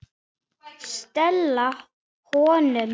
Stela honum?